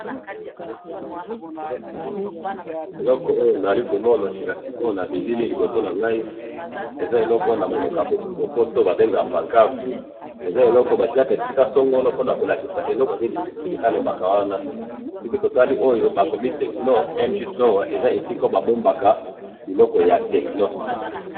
eloko oyo nazali komona sika sikoyo na bilili liboso nangai, eza eloko wana namonoko ya lopoto babengaka pancadre, eza eloko batiaka esika songolo po bakolakisa eloko nini esalemaka ewana, siko totali oyo bakomi tecno mg store, eza esika bambobaka biloko ya tecno